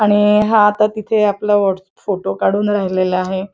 आणि हा आता तिथे आपला फोटो काढून राहिला आहे.